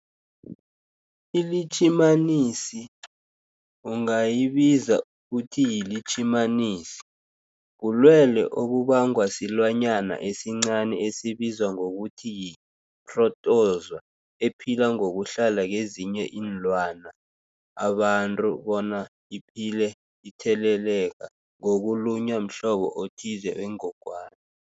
iLitjhimanisi ungayibiza uthiyilitjhimanisi, bulwelwe obubangwa silwanyana esincani esibizwa ngokuthiyi-phrotozowa ephila ngokuhlala kezinye iinlwana, abantu bona iphile itheleleka ngokulunywa mhlobo othize wengogwana.